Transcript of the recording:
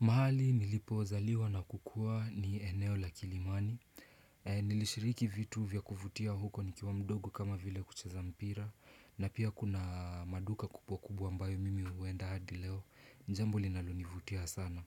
Mahali nilipozaliwa na kukua ni eneo la kilimani e Nilishiriki vitu vya kuvutia huko nikiwa mdogo kama vile kucheza mpira. Na pia kuna maduka kupwa kubwa ambayo mimi huenda hadi leo, ni jambo linalonivutia sana.